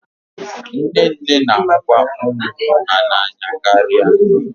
Nne nne na-ahụkwa ụmụ ụmụ ha n'anya karịa